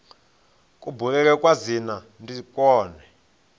kubulele kwa dzina ndi kwone